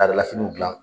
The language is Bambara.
Laadala finiw dilan